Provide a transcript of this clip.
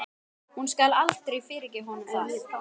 Hún skal aldrei fyrirgefa honum það.